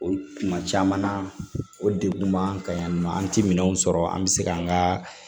O tuma caman na o degun b'an kan yan nɔ an ti minɛn sɔrɔ an bɛ se k'an ka